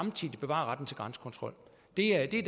er det